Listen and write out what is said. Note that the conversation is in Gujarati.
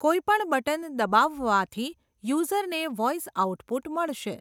કોઇ પણ બટન દબાવવાથી યુઝરને વોઇસ આઉટપુટ મળશે.